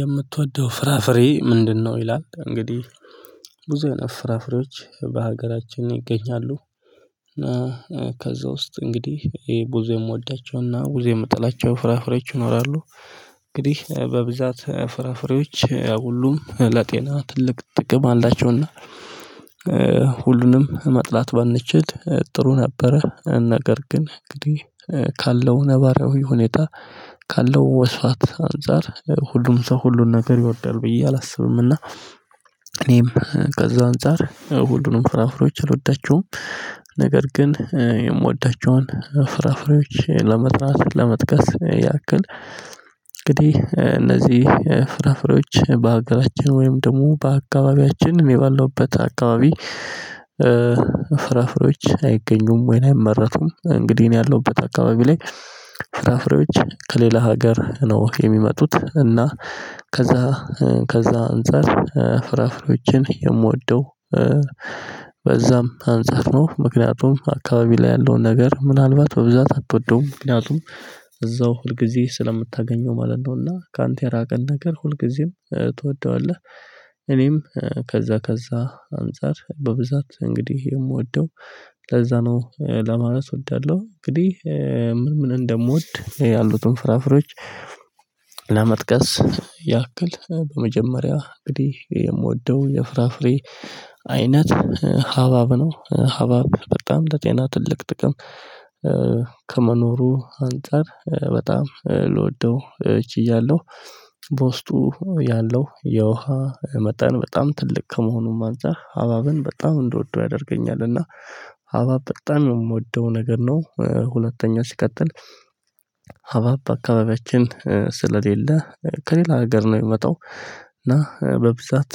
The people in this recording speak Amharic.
የምትወደው ፍራፍሬ ምንድነው? ይላል እንግዲህ ብዙ አይነት ፍራፍሬዎች በሀገራችን ይገኛሉ። ከዛ ውስጥ እንግዲህ ይሄ ብዙ የምወዳቸውና ብዙ የምጥላቸው ፍራፍሬዎች ይኖራሉ። እንግዲህ በብዛት ፍራፍሬዎች ሁሉም ለጤና ትልቅ ጥቅም አላቸውና። ሁሉንም መጥላት ባንችል ጥሩ ነበረ ነገር ግን እንግዲህ ካለው ነባራዊ ሁኔታ ካለው ወስፋት አንፃር ሁሉም ሰው ሁሉን ነገር ይወዳል ብዬ አላስብምና። እኔም ከዛ አንፃር ሁሉንም ፍራፍሬዎች አልወዳቸውም። ነገር ግን የምወዳቸውን ፍራፍሬዎች ለመጥራት ለመጥቀስ ያክል እንግዲህ እነዚህ ፍራፍሬዎች በሀገራችን ወይም ደግሞ በአካባቢያችን ባለሁበት አካባቢ። ፍራፍሬዎች አይገኙም ወይን አይመረቱም እንግዲህ እኔ ያለውበት አካባቢ ላይ ፍራፍሬዎች ከሌላ ሀገር ነው የሚመጡት። እና ከዛ ከዛ አንፃር ፍራፍሬዎችን የምወደው። በዛም አንፃር ነው ምክንያቱም አካባቢ ላይ ያለውን ነገር ምናልባት በብዛት አትወደውም ምክንያቱም እዛው ሁልጊዜ ስለምታገኘው ማለት ነውና። ካንተ የራቀን ነገር ሁልጊዜም ትወደዋለህ። እኔም ከዛ ከዛ አንፃር በብዛት እንግዲህ የምወደው ለዛ ነው ለማለት እወዳለው። እንግዲህ ምን ምን እንደምወድ ያሉትን ፍራፍሬዎች። ለመጥቀስ ያክል በመጀመሪያ እንግዲህ የምወደው የፍራፍሬ አይነት ሀባብ ነው ሀባብ በጣም በጤና ትልቅ ጥቅም። ከመኖሩ አንፃር በጣም ልወደው ችያለው። በውስጡ ያለው የውሃ መጠን በጣም ትልቅ ከመሆኑም አንፃር ሃባብን በጣም እንድወደው ያደርገኛል። እና ሀባብ በጣም የምወደው ነገር ነው። ሁለተኛ ሲቀጥል። ሃብሃብ አካባቢያችን ስለሌለ ከሌላ ሀገር ነው የሚመጣው። እና በብዛት